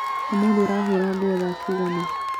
Ũmũthĩ ũrahũra nguo thaa cigana